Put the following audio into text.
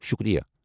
شُکریہ!